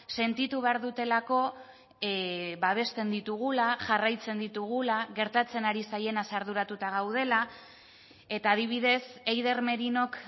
sentitu behar dutelako babesten ditugula jarraitzen ditugula gertatzen ari zaienaz arduratuta gaudela eta adibidez eider merinok